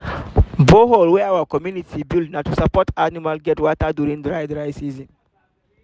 borehole wey our community build na to support animals to get water during dry dry season